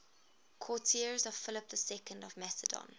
courtiers of philip ii of macedon